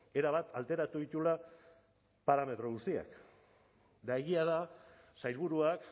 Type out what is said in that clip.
erabat alteratu dituela parametro guztiak eta egia da sailburuak